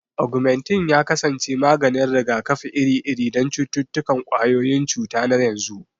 Augmentin ya kasance maganin rigakafi iri-iri don cututtukan ƙwayoyin cuta na yanzu.